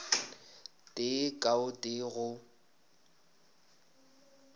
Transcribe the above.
tee ka o tee go